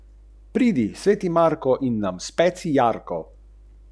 Nazadnje smo raje sledili predlogom natakarja in pozabili na vinsko karto.